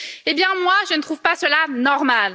Eh bien, moi, je ne trouve pas cela normal.